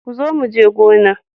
Kazo muje gona.